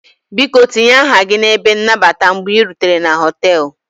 Biko tinye aha gị n'ebe nnabata mgbe ị rutere na họtelu